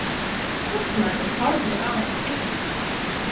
Ráðsmaðurinn horfði á hann hissa.